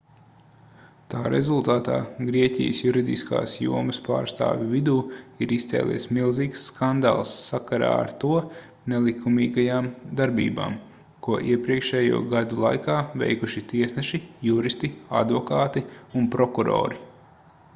tā rezultātā grieķijas juridiskās jomas pārstāvju vidū ir izcēlies milzīgs skandāls sakarā ar to nelikumīgajām darbībām ko iepriekšējo gadu laikā veikuši tiesneši juristi advokāti un prokurori